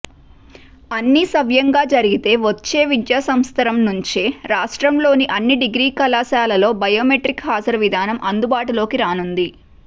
అన్నీ సవ్యంగా జరిగితే వచ్చే విద్యాసంవత్సరం నుంచే రాష్ట్రంలోని అన్ని డిగ్రీ కళాశాలల్లో బయోమెట్రిక్ హాజరు విధానం అందుబాటులోకి రానుంది